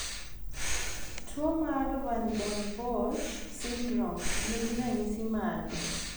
Tuo mar Van Den Bosch syndrome ni gi ranyisi mage?